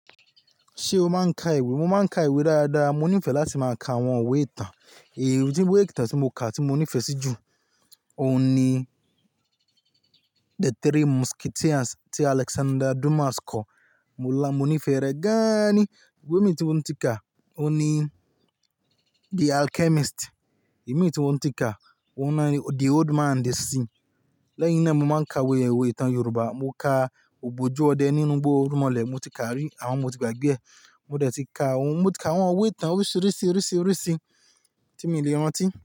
Ṣé o máa ń ka ìwé? Mo máa ń ka ìwé dáadáa, mo nífẹ̀ẹ́ láti máa ka àwọn ìwé ìtàn. Èéh, ìwé ìtàn tí mo kà tí mo nífẹ̀ẹ́ sí jù, òun ni The Three Musketeers tí Alexander Dumas kọ. Mo la, mo nífẹ̀ẹ́ rẹ̀ gan-an ni. Ìwé mìí tí mo ti ka, òun ni The Alchemist. Ẹ̀mi tí n ó ti ka, òun ni The Old Man the Sea. Lẹ́yìn náà, mo máa ń ka òwe, ìwé ìtàn Yorùbá. Mo kà Ogbojú ọdẹ nínú gbó, irúnmọlẹ̀ mo ti ka rí, àmọ mo ti gbàgbé ẹ̀ mo dẹ̀ ti ka àwọn, mo ti ka àwọn ìwé ìtàn oríṣìíríṣìí, oríṣìíríṣìí tí mí lè rántí.